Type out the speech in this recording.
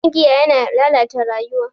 Shan giya yana lalata rayuwa.